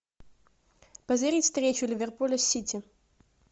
позырить встречу ливерпуля с сити